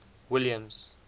williams